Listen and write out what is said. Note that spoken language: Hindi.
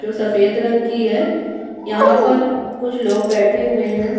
जो सफेद रंग की है यहाँ पर कुछ लोग बैठे हुए हैं।